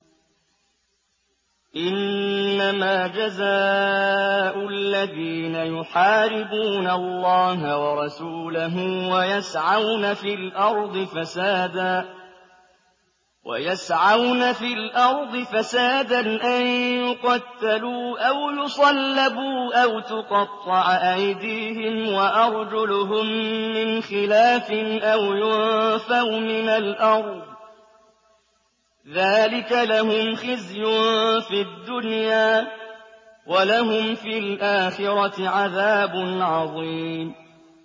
إِنَّمَا جَزَاءُ الَّذِينَ يُحَارِبُونَ اللَّهَ وَرَسُولَهُ وَيَسْعَوْنَ فِي الْأَرْضِ فَسَادًا أَن يُقَتَّلُوا أَوْ يُصَلَّبُوا أَوْ تُقَطَّعَ أَيْدِيهِمْ وَأَرْجُلُهُم مِّنْ خِلَافٍ أَوْ يُنفَوْا مِنَ الْأَرْضِ ۚ ذَٰلِكَ لَهُمْ خِزْيٌ فِي الدُّنْيَا ۖ وَلَهُمْ فِي الْآخِرَةِ عَذَابٌ عَظِيمٌ